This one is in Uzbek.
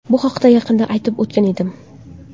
Bu haqida yaqinda aytib o‘tgan edim.